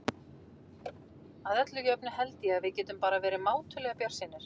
Að öllu jöfnu held ég að við getum verið bara mátulega bjartsýnir.